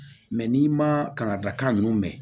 n'i ma kanga kan ninnu mɛn